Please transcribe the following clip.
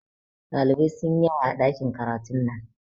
Dalibai sunyi yawa a ɗakin karatun nan